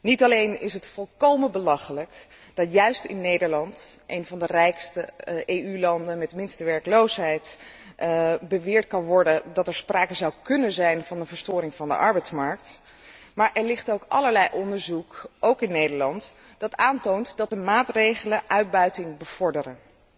Niet alleen is het volkomen belachelijk dat juist in Nederland, een van de rijkste EU landen met de minste werkloosheid, beweerd wordt dat er sprake zou kunnen zijn van een verstoring van de arbeidsmarkt, maar er ligt ook allerlei onderzoek ook in Nederland dat aantoont dat de maatregelen uitbuiting bevorderen.